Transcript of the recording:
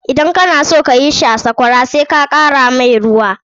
Idan kana son ka yi shi a Sakwara sai ka ɗan kara masa ruwa mai yawa.